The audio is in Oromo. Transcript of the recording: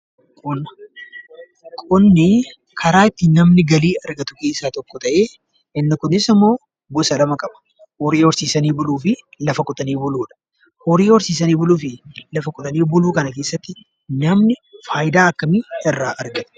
Qonna Qonni karaa ittiin namni galii argatu keessaa tokko ta'ee, innis immoo gosa lama qaba. Horii horsiisanii buluu fi lafa qotanii buluudha. Horii horsiisanii buluu fi lafa qotanii buluu kana keessatti namni fayidaa akkamii irraa argata?